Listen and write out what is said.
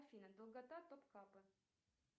афина долгота топкапы